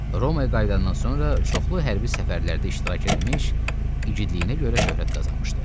Romaya qayıdandan sonra çoxlu hərbi səfərlərdə iştirak eləmiş, igidliyinə görə şöhrət qazanmışdı.